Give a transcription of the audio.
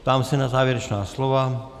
Ptám se na závěrečná slova.